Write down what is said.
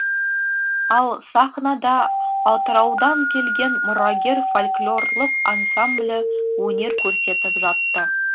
ал сахнада атыраудан келген мұрагер фольклорлық ансамблі өнер көрсетіп жатты